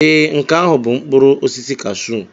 Ee, nke ahụ bụ mkpụrụ osisi kashụụ.